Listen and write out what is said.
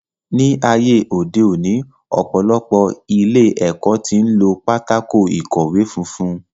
Ní ayé òde òní, ọ̀pọ̀lọpọ̀ ilé ẹ̀kọ́ tí ń lo pátákó ìkọ̀wẹ́ funfun